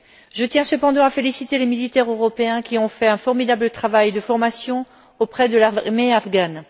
Je tiens cependant à féliciter les militaires européens qui ont fait un formidable travail de formation auprès de l'armée afghane.